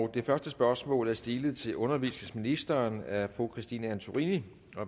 det første spørgsmål er stilet til undervisningsministeren af fru christine antorini